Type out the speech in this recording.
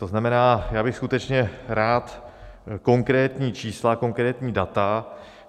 To znamená, já bych skutečně rád konkrétní čísla, konkrétní data.